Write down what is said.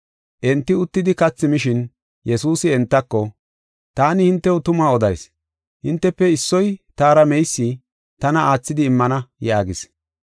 Enti uttidi kathi mishin, Yesuusi entako, “Taani hintew tuma odayis; hintefe issoy taara meysi, tana aathidi immana” yaagis.